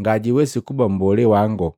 ngajwiwesi kuba mbolee wango.